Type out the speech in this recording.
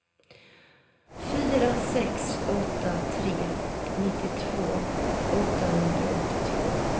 fyra sex åtta tre nittiotvå åttahundraåttiotvå